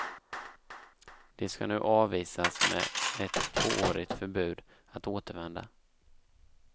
De ska nu avvisas med ett tvåårigt förbud att återvända.